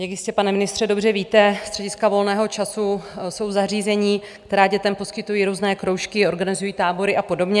Jak jistě, pane ministře, dobře víte, střediska volného času jsou zařízení, která dětem poskytují různé kroužky, organizují tábory a podobně.